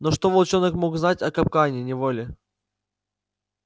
но что волчонок мог знать о капкане о неволе